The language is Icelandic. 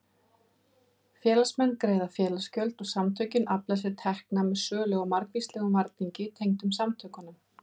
Félagsmenn greiða félagsgjöld og samtökin afla sér tekna með sölu á margvíslegum varningi tengdum samtökunum.